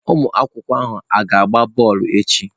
Ụmụ akwụkwọ ha ga-agba bọọlụ echi?